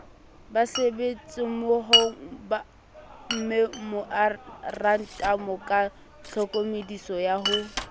basebetsimmohomemorantamo ka tlhokomediso ya ho